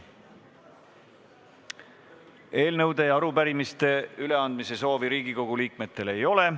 Eelnõude ja arupärimiste üleandmise soovi Riigikogu liikmetel ei ole.